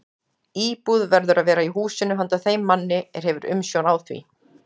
Íbúð verður að vera í húsinu handa þeim manni, er hefur umsjón á því.